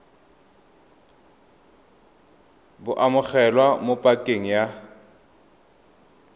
bo amogelwa mo pakeng ya